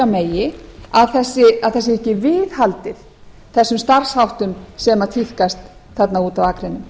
megi að þessu sé viðhaldið þessum starfsháttum sem tíðkast úti á akrinum